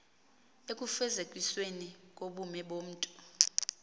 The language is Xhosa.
ekufezekisweni kobume bomntu